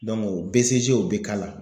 o o be k'a la.